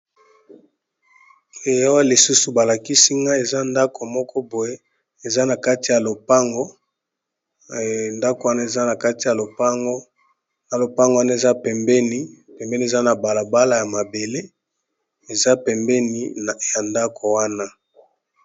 eyawa lisusu balakisi nga eza ndako moko boye eaakatiya oangondako wana eza na kati ya ona lopango waa mepembeni eza na balabala ya mabele eza pembeni ya ndako wana